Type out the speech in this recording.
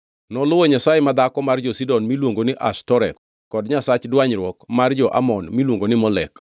Noluwo nyasaye madhako mar jo-Sidon miluongo ni Ashtoreth kod nyasach dwanyruok mar jo-Amon miluongo ni Molek.